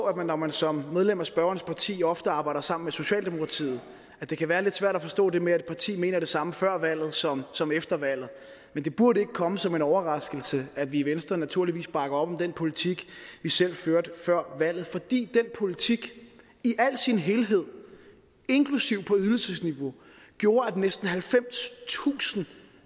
at når man som medlem af spørgerens parti ofte arbejder sammen med socialdemokratiet det være lidt svært at forstå det med at et parti mener det samme før valget som som efter valget men det burde ikke komme som en overraskelse at vi i venstre naturligvis bakker op om den politik vi selv førte før valget fordi den politik i sin helhed inklusive på ydelsesniveau gjorde at næsten halvfemstusind